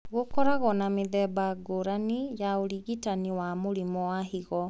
Gũkoragwo na mĩthemba ngũrani ya ũrigitani wa mũrimũ wa higo